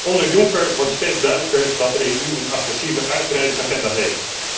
Onder Juncker wordt steeds duidelijker dat de EU een agressieve uitbreidingsagenda heeft.